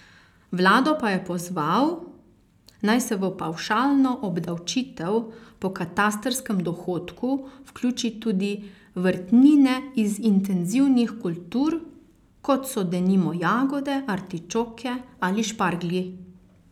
Vlado pa je pozval, naj se v pavšalno obdavčitev po katastrskem dohodku vključi tudi vrtnine iz intenzivnih kultur, kot so denimo jagode, artičoke ali šparglji.